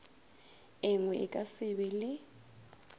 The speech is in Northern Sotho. engwe a ka sebe le